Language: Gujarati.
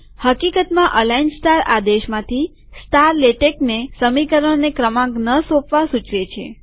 હકીકતમાંઅલાઈન સ્ટાર આદેશમાંની સ્ટાર લેટેકને સમીકરણોને ક્રમાંક ન સોપવા સૂચવે છે